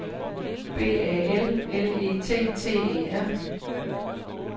B A L L E T T E R